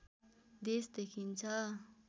देश देखिन्छ